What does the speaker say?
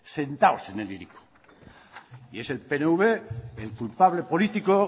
sentados en el hiriko y es el pnv el culpable político